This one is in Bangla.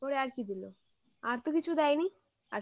তারপরে আর কি দিলো আর তো কিছু দেয়নি